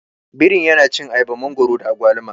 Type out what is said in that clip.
Birin yana cin ayaba, mangwaro da agwaluma.